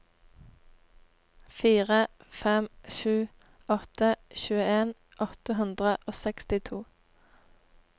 fire fem sju åtte tjueen åtte hundre og sekstito